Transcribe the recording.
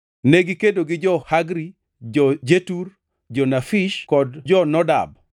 Negikedo gi jo-Hagri, jo-Jetur, jo-Nafish kod jo-Nodab.